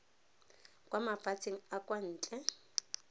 kwa mafatsheng a kwa ntle